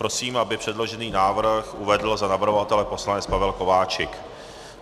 Prosím, aby předložený návrh uvedl za navrhovatele poslanec Pavel Kováčik.